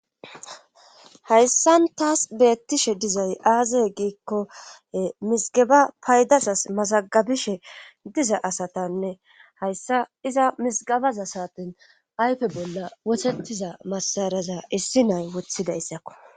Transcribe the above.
Hayssan taas beettishe dizay aazey giikko misgaba paydazas masagabishe diza asatanne hayssa iza misgabaza saaten ayfe bolla wothettiza massaraza issi nay wothidayissakko.